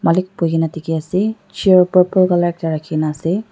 malik duhigena dikhi ase chair purple colour ekta rakhi na ase.